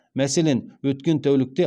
мәселен өткен тәулікте